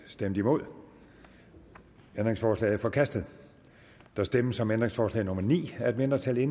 stemte nul ændringsforslaget er forkastet der stemmes om ændringsforslag nummer ni af et mindretal